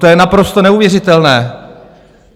To je naprosto neuvěřitelné.